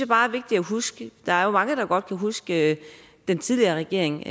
bare er vigtigt at huske der er jo mange der godt kan huske at den tidligere regering